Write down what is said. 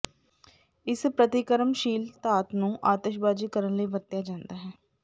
ਇਸ ਪ੍ਰਤੀਕਰਮਸ਼ੀਲ ਧਾਤ ਨੂੰ ਆਤਸ਼ਬਾਜ਼ੀ ਕਰਨ ਲਈ ਵਰਤਿਆ ਜਾਂਦਾ ਹੈ